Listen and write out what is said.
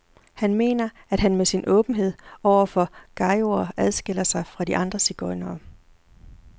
Han mener, at han med sin åbenhed over for gajoer adskiller sig fra de andre sigøjnere.